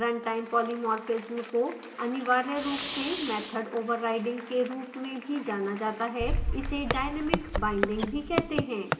runtime polymorphism को अनिवार्य run से method overriding के run में भी जाना जाता है इसे dynamic binding भी कहते हैं